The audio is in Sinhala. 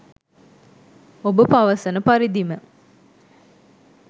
ඔබ පවසන පරිදිම